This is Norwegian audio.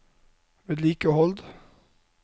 vedlikehold